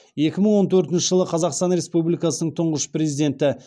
екі мың он төртінші жылы қазақстан республикасының тұңғыш президенті